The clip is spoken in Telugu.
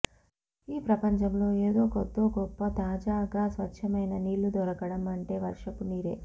ఈ ప్రపంచంలో ఏదో కొద్దో గొప్ప తాజాగా స్వచ్చమైన నీళ్ళు దొరకడం అంటే వర్షపు నీరే